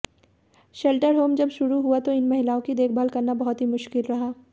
shelter home जब शुरू हुआ तो इन महिलाओं की देखभाल करना बहुत ही मुश्किल रहा